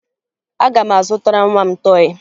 Aga m azụtara nwa m tọọyị